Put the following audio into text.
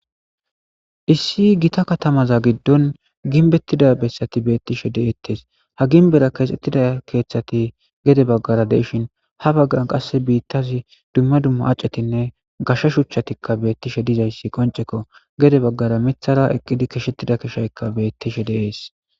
Issi gita katamaza giddon ginbettida bessati beettishe deettes ha ginbera keexxettida keeththati gede baggara deishin ha baggan qass biittazi dumma dumma acetinne gasha shuchatikka beettishe dizayssi qonceko gede baggara mithara eqqidi kishettida keshaykka bettishe deees